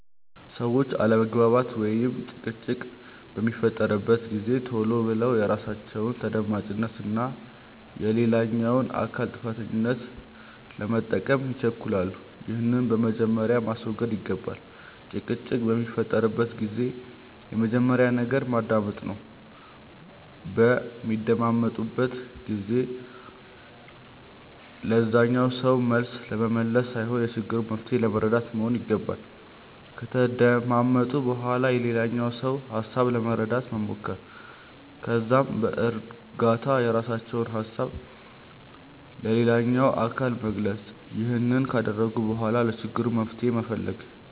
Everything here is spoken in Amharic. ሰዎች አለመግባባት ወይም ጭቅጭቅ በሚፈጠርበት ጊዜ ቶሎ ብለው የራሳቸውን ተደማጭነት እና የሌላኛውን አካል ጥፋተኛነት ለመጠቆም ይቸኩላሉ። ይህንን በመጀመሪያ ማስወገድ ይገባል። ጭቅጭቅ በሚፈጠርበት ጊዜ የመጀመሪያው ነገር መደማመጥ ነው። በሚደማመጡበት ጊዜ ለዛኛው ሰው መልስ ለመመለስ ሳይሆን የችግሩን መንስኤ ለመረዳት መሆን ይገባል። ከተደማመጡ በኋላ የሌላኛውን ሰው ሀሳብ ለመረዳት መሞከር። ከዛም በእርጋታ የራሳቸውን ሀሳብ ለሌላኛው አካል መግለጽ። ይህንን ካደረጉ በኋላ ለችግሩ መፍትሄ መፈለግ።